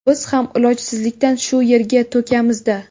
Biz ham ilojsizlikdan shu yerga to‘kamiz-da.